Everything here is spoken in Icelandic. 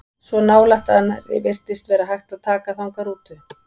Svo nálægt að nærri virtist vera hægt að taka þangað rútu.